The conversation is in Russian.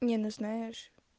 не ну знаешь